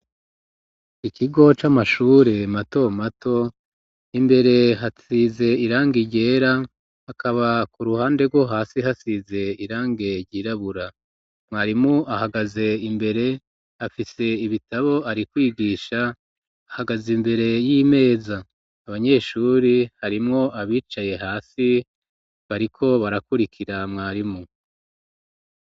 Ikigo c'amashure mato mato imbere hasize irange ryera hakaba ku ruhande rwo hasi hasize irange ryirabura, mwarimu ahagaze imbere afise ibitabo ari kwigisha ahagaze, imbere y'imeza abanyeshuri harimwo abicaye hasi bariko barakurikira mwarimu.